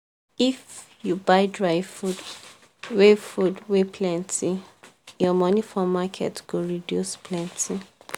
if you buy dry food wey food wey plenty your money for market go reduce plenty.